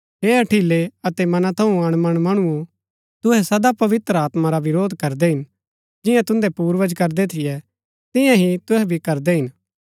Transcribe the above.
हे हठिलै अतै मना थऊँ अणमन मणुओ तुहै सदा पवित्र आत्मा रा विरोध करदै हिन जिंआं तुन्दै पूर्वज करदै थियै तियां ही तुहै भी करदै हिन